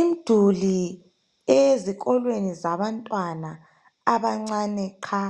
Imduli eyezikolweni zabantwana abancane qha